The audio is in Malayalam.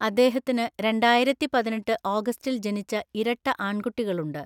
അദ്ദേഹത്തിന് രണ്ടായിരത്തിപതിനെട്ട് ഓഗസ്റ്റിൽ ജനിച്ച ഇരട്ട ആൺകുട്ടികളുണ്ട്.